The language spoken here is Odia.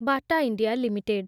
ବଟା ଇଣ୍ଡିଆ ଲିମିଟେଡ୍